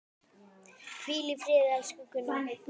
Hvíl í friði, elsku Gunna.